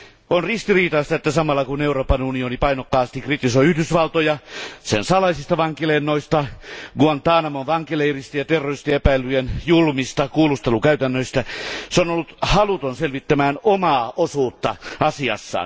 On ristiriitaista, että samalla kun Euroopan unioni painokkaasti kritisoi Yhdysvaltoja sen salaisista vankilennoista, Guantanamon vankileireistä ja terroristiepäiltyjen julmista kuulustelukäytännöistä, se on ollut haluton selvittämään omaa osuutta asiassa.